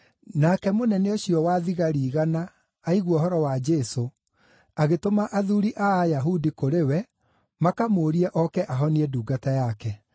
Nake mũnene ũcio wa thigari igana aigua ũhoro wa Jesũ, agĩtũma athuuri a Ayahudi kũrĩ we makamũũrie oke ahonie ndungata yake.